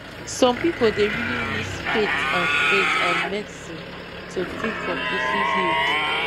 some people dey really mix faith and faith and medicine to feel completely healed